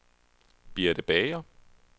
Birte Bager